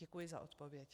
Děkuji za odpověď.